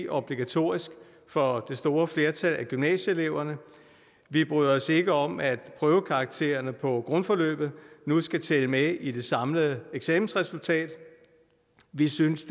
obligatorisk for det store flertal af gymnasieeleverne vi bryder os ikke om at prøvekaraktererne på grundforløbet nu skal tælle med i det samlede eksamensresultat vi synes